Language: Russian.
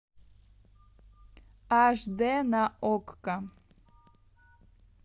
аш дэ на окко